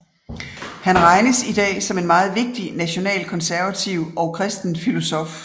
Han regnes idag som en meget vigtig nationalkonservativ og kristen filosof